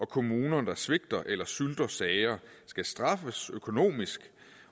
kommuner der svigter eller sylter sager skal straffes økonomisk